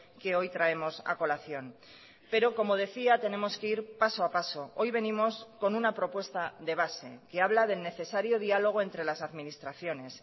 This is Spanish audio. que hoy traemos a colación pero como decía tenemos que ir paso a paso hoy venimos con una propuesta de base que habla del necesario diálogo entre las administraciones